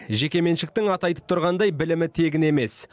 жекеменшіктің аты айтып тұрғандай білімі тегін емес